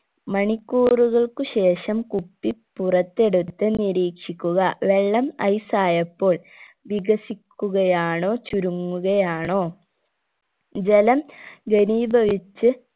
മണിക്കൂറുകൾക്ക് ശേഷം കുപ്പി പുറത്തെടുത്ത് നിരീക്ഷിക്കുക വെള്ളം ice ആയപ്പോൾ വികസിക്കുകയാണോ ചുരുങ്ങുകയാണോ ജലം ഘനീഭവിച്ച്